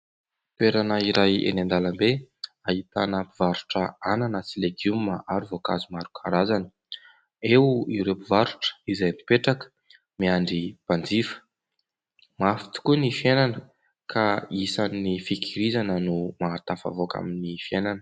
Toerana iray eny an_dàlam_be ahitana mpivarotra hanana sy legioma ary voankazo maro karazany. Eo ireo mpivarotra izay mipetraka miandry mpanjifa. Mafy tokoa ny fiainana ka isan'ny fikirizana no mahatafavoaka amin'ny fiainana.